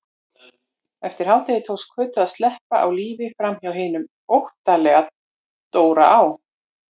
Eftir hádegi tókst Kötu að sleppa á lífi framhjá hinum óttalega Dóra á